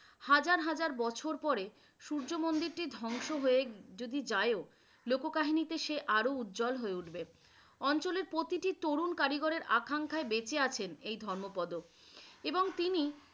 হাজার হাজার বছর পরে সূর্যমন্দিরটি ধ্বংস হয়ে যদি যায় ও লোক কাহিনীতে সে আরো উজ্জ্বল হয়ে উঠবে, অঞ্চলের প্রতিটি তরুন কারিগরের আকাঙ্খায় বেঁচে আছেন এই ধর্মপদ এবং তিনি